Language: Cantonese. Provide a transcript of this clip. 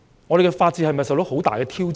我們的法治是否受到很大挑戰？